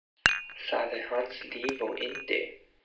Það er hans líf og yndi.